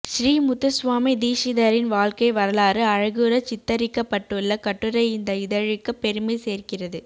ஸ்ரீ முத்துஸ்வாமி தீக்ஷிதரின் வாழ்க்கை வ்ரலாறு அழகுறச் சித்தரிக்கப்பட்டுள்ள கட்டுரை இந்த இதழுக்குப் பெருமை சேர்க்கிறது